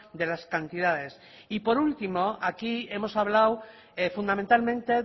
de las cantidades y por último aquí hemos hablado fundamentalmente